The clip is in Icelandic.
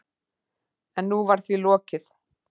En nú var því lokið.